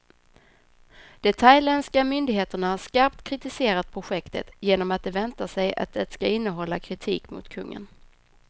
De thailändska myndigheterna har skarpt kritiserat projektet, genom att de väntar sig att det ska innehålla kritik mot kungen.